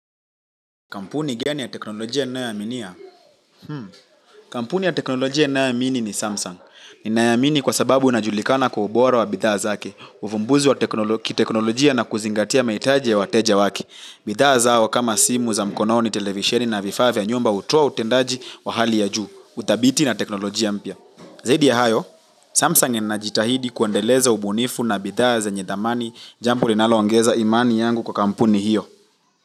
Kampuni gani ya teknolojia ninayo aminia? Kampuni ya teknolojia ninayoamini ni Samsung. Ninaiamini kwa sababu inajulikana kwa ubora wa bidhaa zake, uvumbuzi wa kiteknolojia na kuzingatia mahitaji ya wateja wake. Bidhaa zao kama simu za mkono ni televisheni na vifaa vya nyumba hutowa utendaji wa hali ya juu, utabiti na teknolojia mpya. Zaidi ya hayo, Samsung inajitahidi kuandeleza ubunifu na bidhaa zenye dhamani jambo linalo ongeza imani yangu kwa kampuni hiyo.